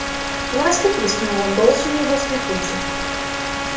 ласка пискнула голос у неё был скрипучий